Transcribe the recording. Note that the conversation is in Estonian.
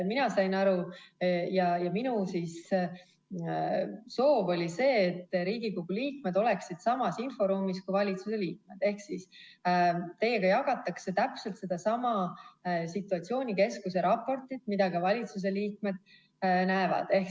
Mina sain aru ja minu soov oli see, et Riigikogu liikmed oleksid samas inforuumis kui valitsuse liikmed ehk siis teiega jagatakse täpselt sedasama situatsioonikeskuse raportit, mida ka valitsuse liikmed näevad.